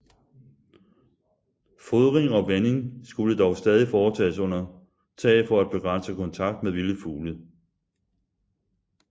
Fodring og vanding skulle dog stadig foretages under tag for at begrænse kontakt med vilde fugle